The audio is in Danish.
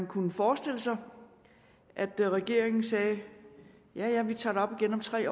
kunne forestille sig at regeringen sagde ja ja vi tager det op igen om tre